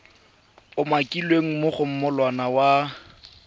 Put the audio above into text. umakilweng mo go molawana wa